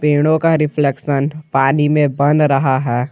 पेड़ों का रिफ्लेक्शन पानी में बन रहा है।